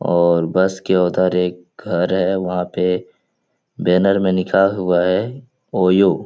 और बस के उधर एक घर है वहाँ पे बैनर में लिखा हुआ है ओयो --